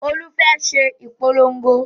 Olú fẹ́ ṣe ìpolongo